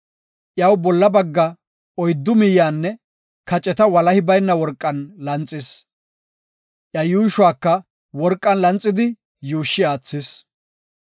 Iyaw bolla bagga, oyddu miyanne kaceta walahi bayna worqan lanxis, iya yuushuwaka worqan lanxidi yuushshi aathis.